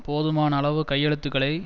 போதுமான அளவு கையெழுத்துக்களை